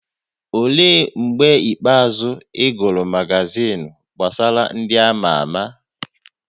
Olee mgbe ikpeazụ ị gụrụ magazin gbasara ndị a ma ama?